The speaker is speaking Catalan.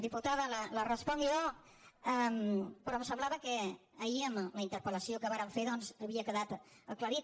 diputada li responc jo però em semblava que ahir en la interpel·lació que vàrem fer doncs havia quedat aclarit